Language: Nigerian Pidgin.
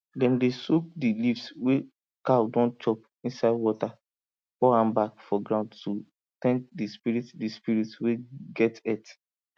dem dey soak di leaves wey cow don chop inside water pour am back for ground to thank di spirit di spirit wey get earth